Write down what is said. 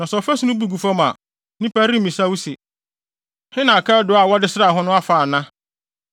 Na sɛ ɔfasu no bu gu fam a, nnipa remmisa wo se, ‘he na akaadoo a wɔde sraa ho no afa,’ ana?